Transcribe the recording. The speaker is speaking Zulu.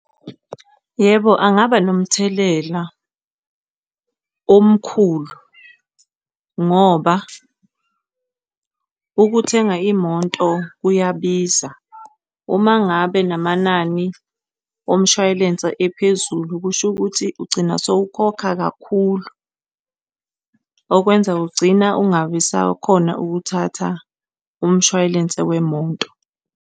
Yebo, angaba nomthelela omkhulu ngoba ukuthenga imoto kuyabiza. Uma ngabe namanani omshwalense ephezulu, kusho ukuthi ugcina sowukhokha kakhulu okwenza ugcina ungabi usakhona ukuthatha umshwalense wemoto.